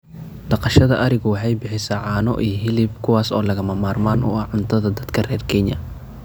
Dhaqashada arigu waxay bixisaa caano iyo hilib kuwaas oo lagama maarmaan u ah cuntada dadka reer Kenya.